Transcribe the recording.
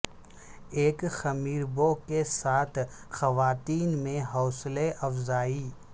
ایک خمیر بو کے ساتھ خواتین میں حوصلہ افزائی